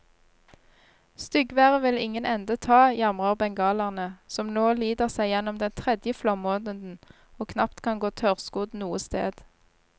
Styggværet vil ingen ende ta, jamrer bengalerne, som nå lider seg gjennom den tredje flommåneden og knapt kan gå tørrskodd noe sted.